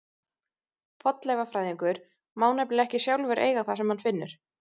Fornleifafræðingur má nefnilega ekki sjálfur eiga það sem hann finnur.